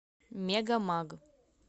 мегамаг